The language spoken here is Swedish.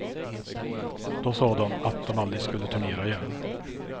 Då sa de att de aldrig skulle turnera igen.